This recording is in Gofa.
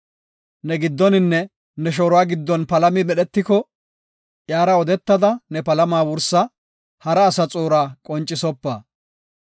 Ne giddoninne ne shooruwa giddon palami medhetiko, iyara odetada ne palama wursa; hara asa xuura qoncisopa.